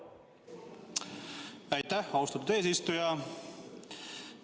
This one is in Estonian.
Aitäh, austatud eesistuja!